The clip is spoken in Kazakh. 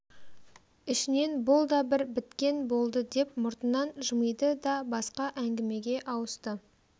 ішінен бұл да бір біткен болды деп мұртынан жымиды да басқа әңгімеге ауысты